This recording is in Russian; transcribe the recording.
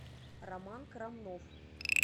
роман крамнов